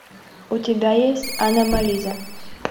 у тебя есть аномализа